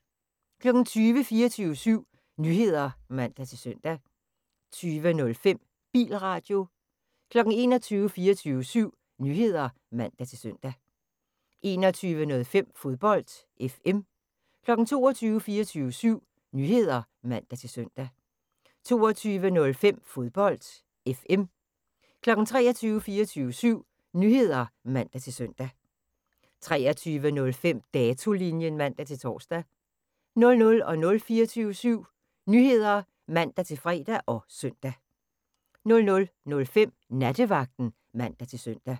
20:00: 24syv Nyheder (man-søn) 20:05: Bilradio 21:00: 24syv Nyheder (man-søn) 21:05: Fodbold FM 22:00: 24syv Nyheder (man-søn) 22:05: Fodbold FM 23:00: 24syv Nyheder (man-søn) 23:05: Datolinjen (man-tor) 00:00: 24syv Nyheder (man-fre og søn) 00:05: Nattevagten (man-søn)